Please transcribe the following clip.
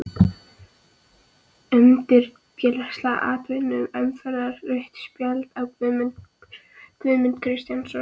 Umdeildasta atvik umferðarinnar: Rautt spjald á Guðmund Kristjánsson?